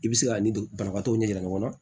I bɛ se k'a ni banabagatɔw ɲɛ yira ɲɔgɔn na